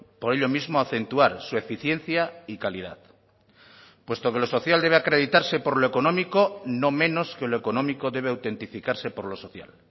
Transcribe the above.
por ello mismo acentuar su eficiencia y calidad puesto que lo social debe acreditarse por lo económico no menos que lo económico debe autentificarse por lo social